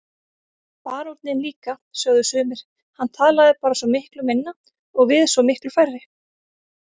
Baróninn líka, sögðu sumir, hann talaði bara svo miklu minna og við svo miklu færri.